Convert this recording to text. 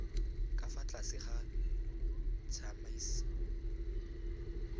ka fa tlase ga tsamaiso